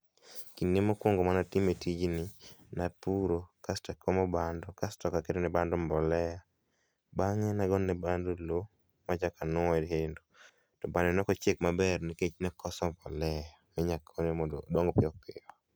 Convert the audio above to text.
Kinde mokuongo mane atimo tijni, napuro kasto akomo bando kasto aketo ne bando mbolea. Bang'e nagone bando loo machoke nuoye kendo to bando ne ok ochiek maber nikech nakoso mbolea minya gone mondo odong piyo piyo